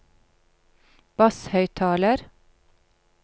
basshøyttaler